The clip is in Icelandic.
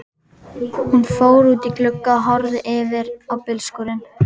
Hún fór út í glugga og horfði yfir á bílskúrinn.